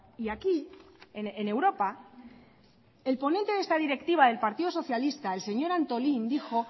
y aquí en europa el ponente de esta directiva del partido socialista el señor antolín dijo